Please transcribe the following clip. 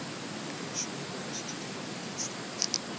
english immigrants to the united states